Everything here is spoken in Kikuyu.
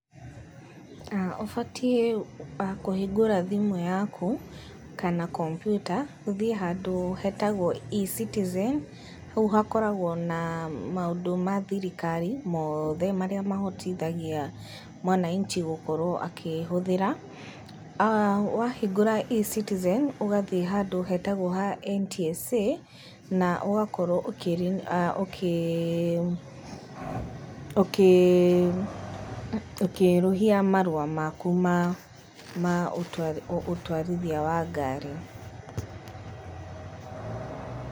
Ũbatiĩ kũhingũra thimũ yaku kana kompyuta, ũthiĩ handũ hetagwo ECitizen, hau hakoragwo na maũndũ ma thirikari mothe, marĩa mahotithagia mwananchi gũkorwo akĩhũthĩra, wahingũra ECitizen, ũgathiĩ handũ hetagwo ha NTSA, na ũgakorwo ukĩerũhia marũa maku ma ũtwarithia wa ngari.